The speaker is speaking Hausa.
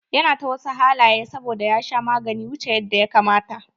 Ya na ta wasu halaye saboda ya sha maganin wuche yanda ya kamata.